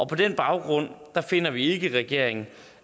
på den baggrund finder vi ikke i regeringen